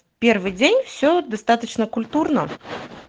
первый день все достаточно культурно